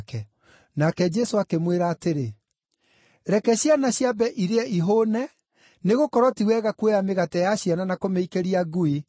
Nake Jesũ akĩmwĩra atĩrĩ, “Reke ciana ciambe irĩe ihũũne, nĩgũkorwo ti wega kuoya mĩgate ya ciana na kũmĩikĩria ngui.”